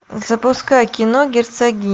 запускай кино герцогиня